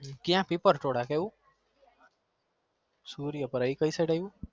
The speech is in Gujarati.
કયા પેપર થોડા કેવું સૂર્યા પડ કઈ સીડ અવયું